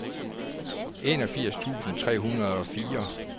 enogfirs tusind tre hundrede og fire